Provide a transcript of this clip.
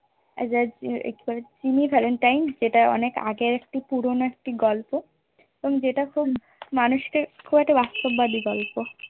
Jimmy valentine যেটা অনেক আগের একটি পুরোনো একটি গল্প যেটা খুব মানুষকে খুব বাস্তববাদী গল্প